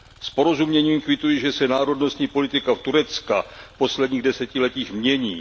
S porozuměním kvituji, že se národnostní politika Turecka v posledních desetiletích mění.